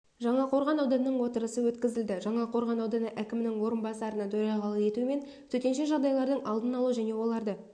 жаңақорған ауданының отырысы өткізілді жаңақорған ауданы әкімінің орынбасарының төрағалық етуімен төтенше жағдайлардың алдын алу және оларды